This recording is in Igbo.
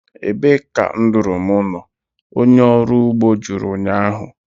Ebee ka nduru m nọ? onye ọrụ ugbo jụrụ ụnyahụ